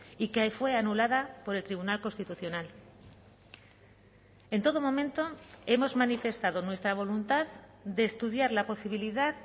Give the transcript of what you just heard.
y que fue anulada por el tribunal constitucional en todo momento hemos manifestado nuestra voluntad de estudiar la posibilidad